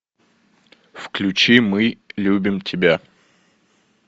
включи мы любим тебя